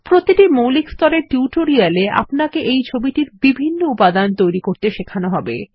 প্রতিটি মৌলিক স্তরের টিউটোরিয়ালে আপনাকে এই ছবিটির বিভিন্ন উপাদান তৈরি করতে শেখানো হবে